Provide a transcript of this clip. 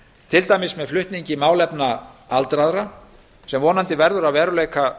til dæmis með flutningi málefna aldraðra sem vonandi verður að veruleika